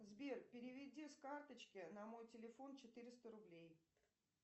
сбер переведи с карточки на мой телефон четыреста рублей